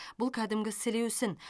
бұл кәдімгі сілеусін